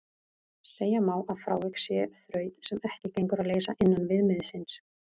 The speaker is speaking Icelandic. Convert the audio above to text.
Segja má að frávik sé þraut sem ekki gengur að leysa innan viðmiðsins.